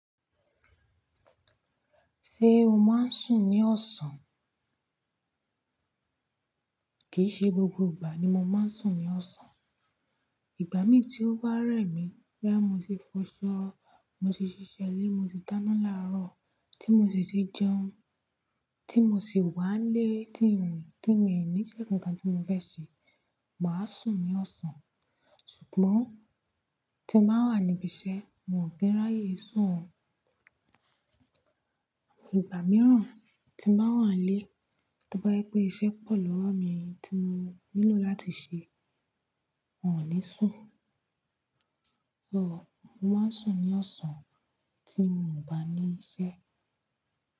Ṣé o máa ń sùn ní ọ̀sán? Kì í ṣe gbogbo ìgbà ni mo máa ń sùn ní ọ̀sán. Ìgbà mí tí ó bá rẹ̀ mí, bóyá mó ti fọṣọ, mo ti ṣiṣẹ́ ilé, mo ti dáná láàárọ̀, tí mo dẹ̀ ti jẹun, tí mo sì wà lé tí ń rìn, tí mi ò ní iṣẹ́ kan tí mo fẹ́ ṣe, màá sùn ní ọ̀sán. Ṣùgbọ́n tí mo bá wà níbi iṣẹ́, mi ò kí ráyè sùn o. Ìgbà mìíràn tí mo bá wà nílé, tí mo bá rí pé iṣẹ́ pọ̀ lọ́wọ́ mi tí mo nílò láti ṣe, mi ò ní sùn. So mo máa ń sùn ní ọ̀sán tí mo ò bá ní iṣẹ́.